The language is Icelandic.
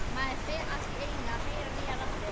Maður fer allt í einu að heyra nýjar raddir.